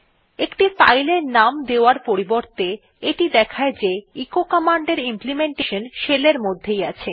একটি ফাইল এর নাম দেওয়ার পরিবর্তে এটি দেখায় যে এচো কমান্ডের ইমপ্লিমেন্টেশন শেল এর মধ্যেই আছে